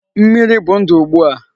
Mmiri bụ ndụ ugbu a.